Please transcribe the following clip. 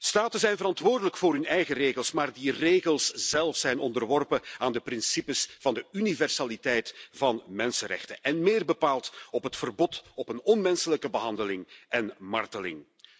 Staten zijn verantwoordelijk voor hun eigen regels, maar die regels zelf zijn onderworpen aan de principes van de universaliteit van mensenrechten, en meer bepaald het verbod op onmenselijke behandeling en marteling.